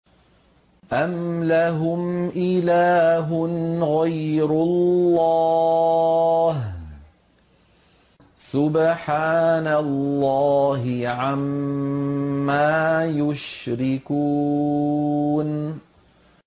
أَمْ لَهُمْ إِلَٰهٌ غَيْرُ اللَّهِ ۚ سُبْحَانَ اللَّهِ عَمَّا يُشْرِكُونَ